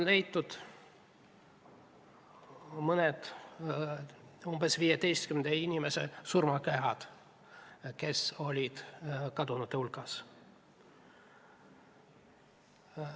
Leitud on umbes 15 inimese surnukehad, kes olid kadunute hulgas.